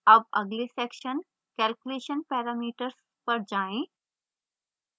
अब अगले section calculation parameters पर जाएँ